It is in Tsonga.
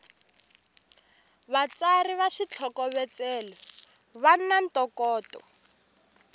vatsari va switlhokovetselo vana ntokoto